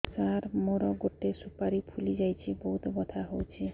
ସାର ମୋର ଗୋଟେ ସୁପାରୀ ଫୁଲିଯାଇଛି ବହୁତ ବଥା ହଉଛି